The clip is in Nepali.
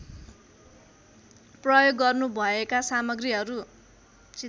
प्रयोग गर्नुभएका सामग्रीहरू